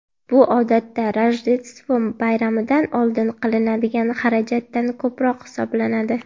Bu odatda Rojdestvo bayramidan oldin qilinadigan xarajatdan ko‘proq hisoblanadi.